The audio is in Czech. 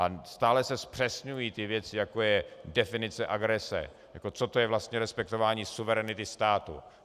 A stále se zpřesňují ty věci, jako je definice agrese, co to je vlastně respektování suverenity státu.